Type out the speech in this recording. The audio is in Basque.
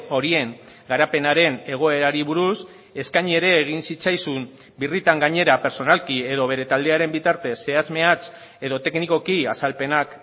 horien garapenaren egoerari buruz eskaini ere egin zitzaizun birritan gainera pertsonalki edo bere taldearen bitartez zehatz mehatz edo teknikoki azalpenak